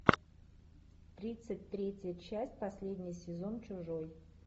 тридцать третья часть последний сезон чужой